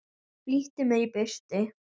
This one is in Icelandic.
Flýtti mér í burtu.